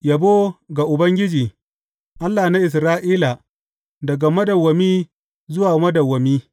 Yabo ga Ubangiji, Allah na Isra’ila, daga madawwami zuwa madawwami.